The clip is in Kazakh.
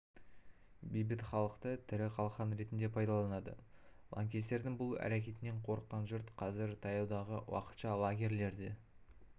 бейбіт халықты тірі қалқан ретінде пайдаланады лаңкестердің бұл әрекетінен қорыққан жұрт қазір таяудағы уақытша лагерлерді